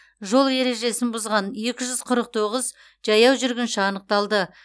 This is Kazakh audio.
жол ережесін бұзған екі жүз қырық тоғыз жаяу жүргінші анықталды